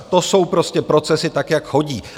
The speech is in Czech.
To jsou prostě procesy, tak jak chodí.